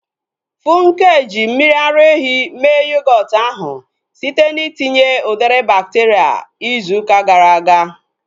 Funke ji mmiri ara ehi mee yogọọtu ahu site na itinye udiri bakteria izu ụka gara aga